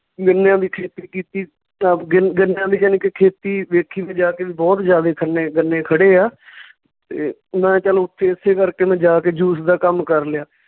ਗੰਨਿਆਂ ਦੀ ਖੇਤੀ ਕੀਤੀ ਗੰਨਿਆਂ ਦੀ ਜਾਣੀ ਕਿ ਖੇਤੀ ਵੇਖੀ ਵੀ ਜਾ ਕੇ ਵੀ ਬਹੁਤ ਜਿਆਦਾ ਖੰਨੇ ਗੰਨੇ ਖੜ੍ਹੇ ਆ ਤੇ ਮੈਂ ਚੱਲ ਉੱਥੇ ਓਸੇ ਕਰਕੇ ਮੈਂ ਜਾ ਕੇ juice ਦਾ ਕੰਮ ਕਰ ਲਿਆ।